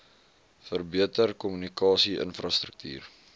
verbeter kommunikasie infrastruktuur